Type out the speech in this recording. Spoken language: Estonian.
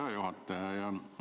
Hea juhataja!